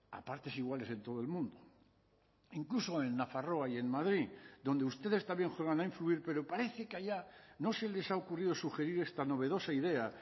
a partes iguales en todo el mundo incluso en nafarroa y en madrid donde ustedes también juegan a influir pero parece que allá no se les ha ocurrido sugerir esta novedosa idea